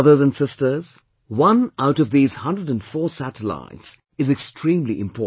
Brother & sisters, one out of these 104 satellites is extremely important